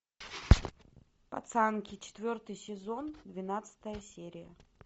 пацанки четвертый сезон двенадцатая серия